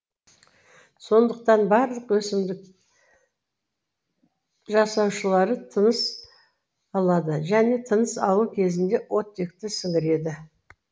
сондықтан барлық өсімдік жасушалары тыныс алады және тыныс алу кезінде оттекті сіңіреді